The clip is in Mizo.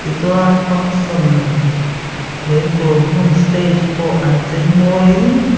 tichuan function neih na tur hmun stage pawh an cheimawiin.